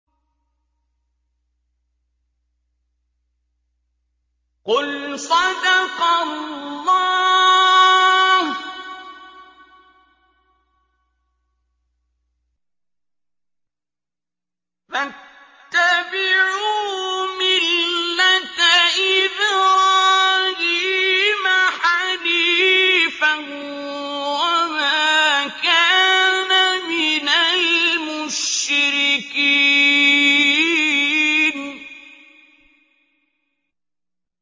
قُلْ صَدَقَ اللَّهُ ۗ فَاتَّبِعُوا مِلَّةَ إِبْرَاهِيمَ حَنِيفًا وَمَا كَانَ مِنَ الْمُشْرِكِينَ